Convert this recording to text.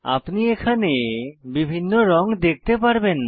আপনি এখানে বিভিন্ন রঙ দেখতে পারবেন